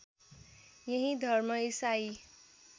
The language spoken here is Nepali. यही धर्म ईसाई